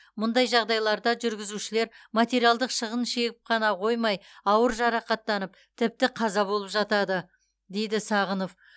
мұндай жағдайларда жүргізушілер материалдық шығын шегіп қана қоймай ауыр жарақаттанып тіпті қаза болып жатады дейді сағынов